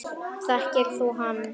Þekkir þú hann?